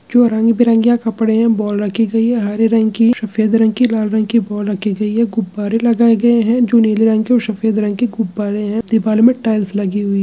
जो रंग-बरंगेया कपड़े है बॉल रखी गयी है हरे रंग की सफेद रंग की लाल रंग की बॉल रखी हुई है गुब्बारे लगाए गए है जो नीले रंग के और सफेद रंग गुब्बारे है दिवाल में टाइल्स लगी हुई--